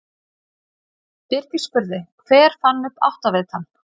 Birgir spurði: Hver fann upp áttavitann?